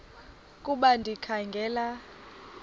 ukuba ndikha ngela